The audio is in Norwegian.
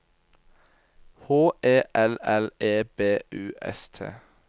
H E L L E B U S T